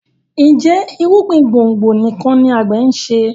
Njé irúgbìn gbòngbò nìkàn ní agbe nṣe?